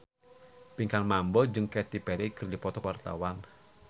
Pinkan Mambo jeung Katy Perry keur dipoto ku wartawan